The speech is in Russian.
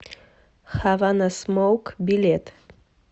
хаванасмоук билет